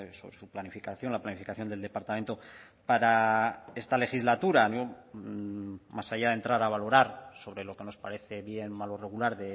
sobre su planificación la planificación del departamento para esta legislatura más allá de entrar a valorar sobre lo que nos parece bien mal o regular